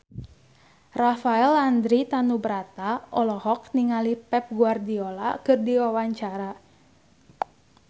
Rafael Landry Tanubrata olohok ningali Pep Guardiola keur diwawancara